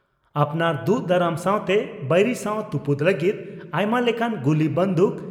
ᱟᱯᱱᱟᱨ ᱫᱩᱜ ᱫᱟᱨᱟᱢ ᱥᱟᱣᱛᱮ ᱵᱟᱹᱭᱨᱤ ᱥᱟᱣ ᱛᱩᱯᱩᱫ ᱞᱟᱹᱜᱤᱫ ᱟᱭᱢᱟ ᱞᱮᱠᱟᱱ ᱜᱩᱞᱤ ᱵᱟᱸᱫᱩᱠ